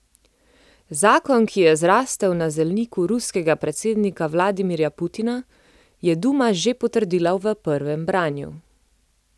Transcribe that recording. Zakon, ki je zrasel na zelniku ruskega predsednika Vladimirja Putina, je duma že potrdila v prvem branju.